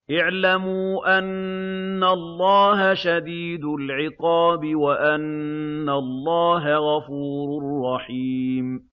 اعْلَمُوا أَنَّ اللَّهَ شَدِيدُ الْعِقَابِ وَأَنَّ اللَّهَ غَفُورٌ رَّحِيمٌ